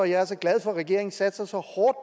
jeg er så glad for at regeringen satser så hårdt